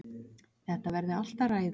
Þetta verði allt að ræða.